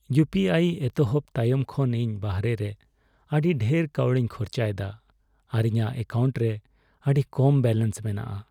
ᱤᱭᱩᱯᱤᱟᱭ ᱮᱛᱚᱦᱚᱵ ᱛᱟᱭᱚᱢ ᱠᱷᱚᱱ, ᱤᱧ ᱵᱟᱦᱨᱮ ᱨᱮ ᱟᱹᱰᱤ ᱰᱷᱮᱨ ᱠᱟᱹᱣᱰᱤᱧ ᱠᱷᱚᱨᱪᱟ ᱮᱫᱟ ᱟᱨ ᱤᱧᱟᱹᱜ ᱮᱠᱟᱣᱩᱱᱴ ᱨᱮ ᱟᱹᱰᱤ ᱠᱚᱢ ᱵᱮᱞᱮᱱᱥ ᱢᱮᱱᱟᱜᱼᱟ ᱾